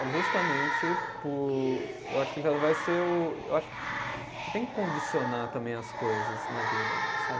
É justamente por, eu acho que já vai ser o, eu acho que, você tem que condicionar também as coisas na vida, sabe?